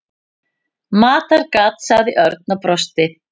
Matargat sagði Örn og brosti.